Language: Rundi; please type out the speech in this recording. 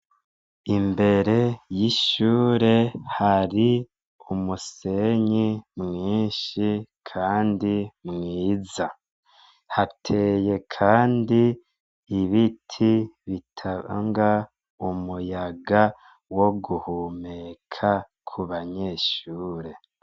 Imbere y'ishure, hari umusenyi mwinshi kandi mwiza. Hateye kandi ibiti bitanga umuyaga wo guhumeka ku banyeshure.